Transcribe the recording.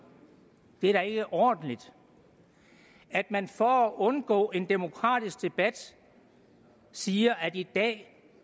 det er da ikke ordentligt at man for at undgå en demokratisk debat siger at i dag